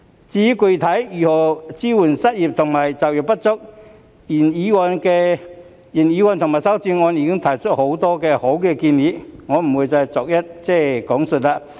至於具體該如何支援失業及就業不足人士，原議案及修正案均已提出很多好建議，我不會逐一講述。